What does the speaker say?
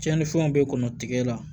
Tiɲɛnifɛnw bɛ kɔnɔ tigɛ